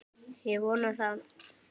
Ég vona það!